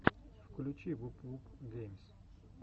включи вуп вуп геймс